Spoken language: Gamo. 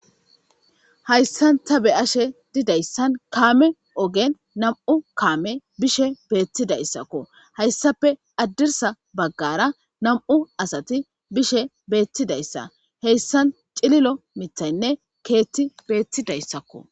Haysa ta beyashe dizaysa kame ogen nam'u kamey beshe betidaysako haysappe hadrisa bagara nam'u asati bishe betidaysa hesan cililo mithayine kethiy betidaysako